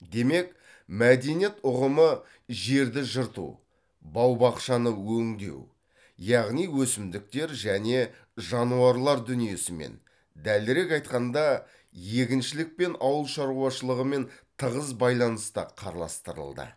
демек мәдениет ұғымы жерді жырту бау бақшаны өңдеу яғни өсімдіктер және жануарлар дүниесімен дәлірек айтқанда егіншілік пен ауыл шаруашылығымен тығыз байланыста қарастырылды